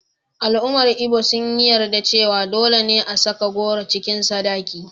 Al’ummar Ibo sun yi yarda cewa dole ne a saka goro cikin sadaki.